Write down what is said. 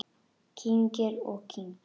Kyngir og kyngir.